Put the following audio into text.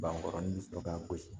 Bankɔrɔnin sɔrɔ ka gosi